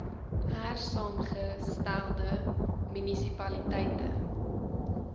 hersaamge stelde munisipaliteite